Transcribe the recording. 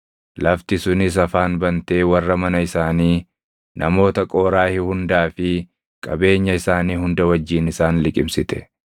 lafti sunis afaan bantee warra mana isaanii, namoota Qooraahi hundaa fi qabeenya isaanii hunda wajjin isaan liqimsite.